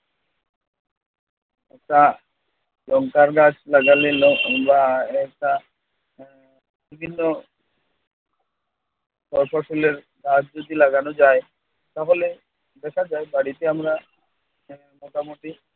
একটা লংকার গাছ লাগালে বিভিন্ন ফয় ফসলের গাছ যদি লাগানো যায় তাহলে দেখা যায় বাড়িতে আমরা মোটামুটি